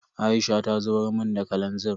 Aisha ta zubar mun da kalanzir.